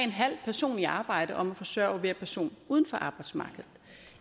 person i arbejde om at forsørge hver person uden for arbejdsmarkedet